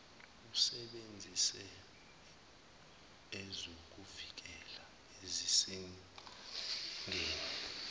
usebenzise ezokuvikela ezisezingeni